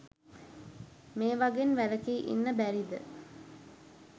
මේවගෙන් වැලකී ඉන්න බැරිද?